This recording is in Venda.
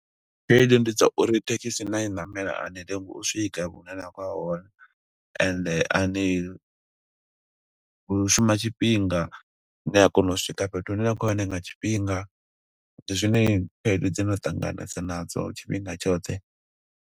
Khaedu ndi dza uri thekhisi na i namela, a ni lengi u swika hune na khou ya hone. Ende a ni, hu shuma tshifhinga. Ni a kona u swika fhethu hune na khou ya hone nga tshifhinga. Ndi zwine khaedu dze nda ṱanganesa nadzo, tshifhinga tshoṱhe.